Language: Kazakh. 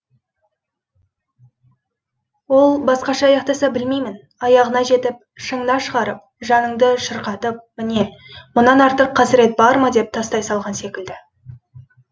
ол басқаша аяқтаса білмеймін аяғына жетіп шыңына шығарып жаныңды шырқыратып міне мұнан артық қасірет бар ма деп тастай салған секілді